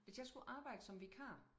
Hvis jeg skulle arbejde som vikar